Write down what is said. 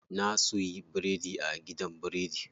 Na suyi biredi a gidan biredi.